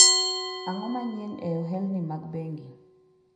ang'o manyien e ohelni mag bengi